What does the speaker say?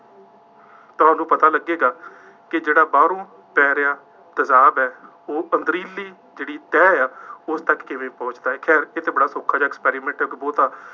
ਤਾਂ ਉਹਨੂੰ ਪਤਾ ਲੱਗੇਗਾ, ਕਿ ਜਿਹੜਾ ਬਾਹਰੋਂ ਪੈ ਰਿਹਾ ਤੇਜ਼ਾਬ ਹੈ ਉਹ ਪੰਧਰੀਲੀ ਜਿਹੜੀ ਤਹਿ ਹੈ ਉਸ ਤੱਕ ਕਿਵੇਂ ਪਹੁੰਚਦਾ ਹੈ, ਖੈਰ ਇਹ ਤਾਂ ਬੜਾ ਸੌਖਾ ਜਿਹਾ experimental ਸਬੂਤ ਹੈ।